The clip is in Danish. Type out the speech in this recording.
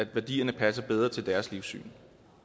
værdierne passer bedre til deres livssyn